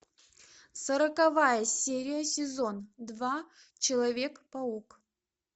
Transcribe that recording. сороковая серия сезон два человек паук